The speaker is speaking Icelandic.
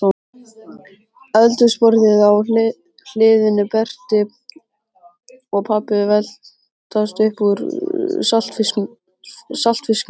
Eldhúsborðið á hliðinni, Berti og pabbi veltast upp úr saltfisknum